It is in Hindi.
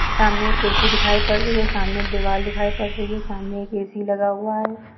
सामने कुरसी दिखाई पद रही है सामने एक एक दीवाल दिखाई पद रही है सामने एक ए_सी लगा हुआ है।